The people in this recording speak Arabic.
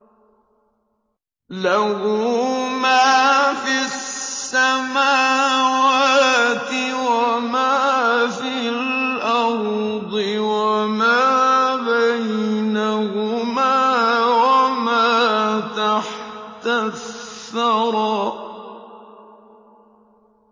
لَهُ مَا فِي السَّمَاوَاتِ وَمَا فِي الْأَرْضِ وَمَا بَيْنَهُمَا وَمَا تَحْتَ الثَّرَىٰ